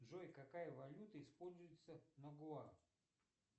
джой какая валюта используется на гуа